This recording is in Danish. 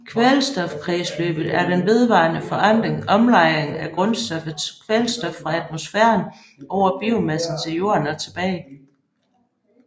Kvælstofkredsløbet er den vedvarende forandring og omlejring af grundstoffet kvælstof fra atmosfæren over biomassen til jorden og tilbage